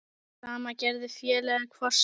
Sama gerði félagið Kvosin.